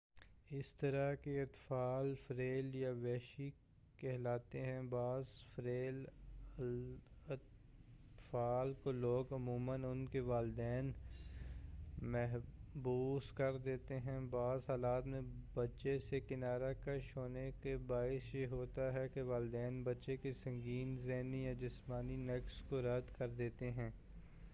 اس طرح کے اطفال ”فیرل یا وحشی کہلاتے ہیں۔ بعض فیرل اطفال کو لوگ عموماً ان کے والدین محبوس کر دیتے ہیں؛ بعض حالات میں بچے سے کنارہ کش ہونے کا باعث یہ ہوتا ہے کہ والدین بچے کے سنگین ذہنی یا جسمانی نقص کو رد کر دیتے ہیں۔